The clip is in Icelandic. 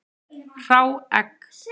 Hrá egg.